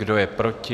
Kdo je proti?